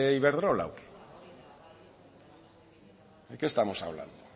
iberdrola o qué de qué estamos hablando